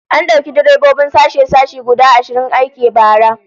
An dauki direbobin sashe-sashe guda ashirin aiki a bara